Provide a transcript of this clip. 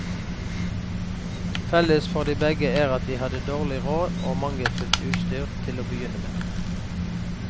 Felles for begge er at de hadde dårlig råd og mangelfullt utstyr til å begynne med.